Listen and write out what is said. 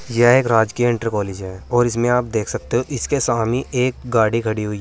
यह एक राजकीय इंटर कॉलेज है और इसमें आप देख सकते हैं इसके सामने एक गाड़ी खड़ी हुई है।